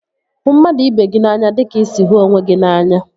Hụ mmadụ ibe gị n'anya dịka ị sị hụ onwe gị n'anya